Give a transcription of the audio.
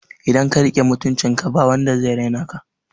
Idan ka riƙe mutuncin ka ba wanda zai raina ka